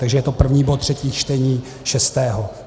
Takže je to první bod, třetí čtení, šestého.